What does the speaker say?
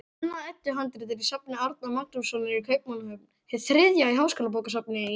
Annað Eddu-handrit er í safni Árna Magnússonar í Kaupmannahöfn, hið þriðja í Háskólabókasafni í